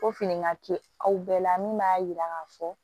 Ko fini ka te aw bɛɛ la min b'a yira k'a fɔ